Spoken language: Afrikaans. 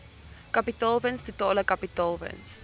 kapitaalwins totale kapitaalwins